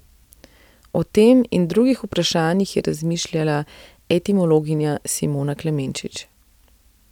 O tem in drugih vprašanjih je razmišljala etimologinja Simona Klemenčič.